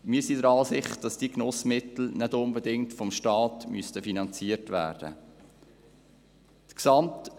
Wir sind der Ansicht, dass diese Genussmittel nicht unbedingt vom Staat finanziert werden müssen.